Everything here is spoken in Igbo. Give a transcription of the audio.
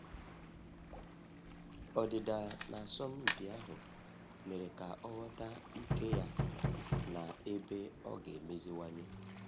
Ọdịda na asọmpi ahụ mere ka ọ ghọta ike ya na ebe ọ ga emeziwanye